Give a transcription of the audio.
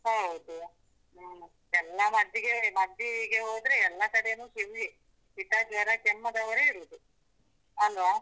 ಹೌದು, ಎಲ್ಲ ಮದ್ದಿಗೆ ಮದ್ದಿಗೆ ಹೋದ್ರೆ ಎಲ್ಲ ಕಡೆನು queue ವೆ ಶಿತ, ಜ್ವರ, ಕೆಮ್ಮದವರೆ ಇರುದು ಅಲ್ವಾ?